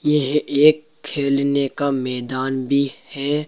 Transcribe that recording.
यह एक खेलने का मैदान भी है।